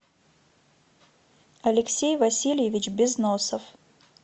алексей васильевич безносов